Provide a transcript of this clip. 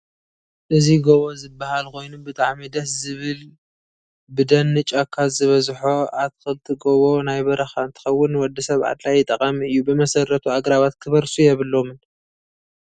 እዚ ጎቦ ዝበሃል ኮይኑ ብጣዓሚ ደስ ዝብል ብደን ጫካ ዝበዝሖ ኣተክልት ጎቦ ናይ በረካ እንትከውን ንወድሰብ ኣድላይ ጠቃሚ እዩ ብመሰረቱ ኣግራባት ክበርሱ የብሎምን።